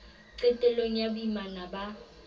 qetel long ya boimana ba